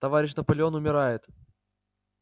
товарищ наполеон умирает